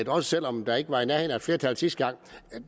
også selv om der ikke var i nærheden af et flertal sidste gang